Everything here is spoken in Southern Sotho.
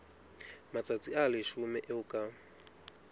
matsatsi a leshome eo ka